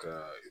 Ka